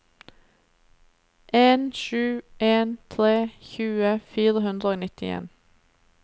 en sju en tre tjue fire hundre og nittien